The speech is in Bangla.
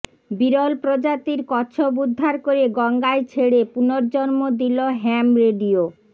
বিরল প্রজাতির কচ্ছপ উদ্ধার করে গঙ্গায় ছেড়ে পুনর্জন্ম দিল হ্যাম রেডিও